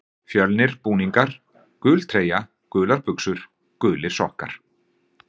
Fjölnir Búningar: Gul treyja, gular buxur, gulir sokkar.